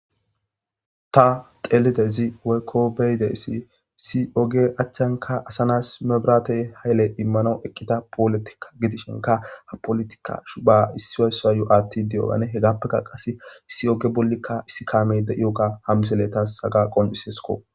Ta xeelide zi weykko beyideissi si oge achchanka asanas mebratey hayle immano eqqita polotikka gidishenka ha polotikash ba issi oyssoa yo'atti diyogane he gappeka qas issi oge bollikka issi kaame de'ioga hamseletas haga qonciseskko.